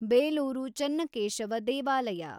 ಬೇಲೂರು ಚೆನ್ನಕೇಶವ ದೇವಾಲಯ